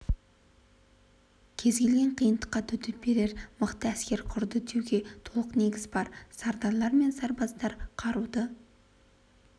кез келген қиындыққа төтеп берер мықты әскер құрды деуге толық негіз бар сардарлар мен сарбаздар қаруды